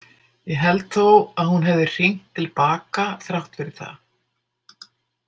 Ég held þó að hún hefði hringt til baka þrátt fyrir það.